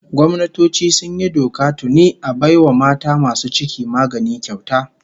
Gwamnatoci sun yi doka tuni a bai wa mata masu ciki magani kyauta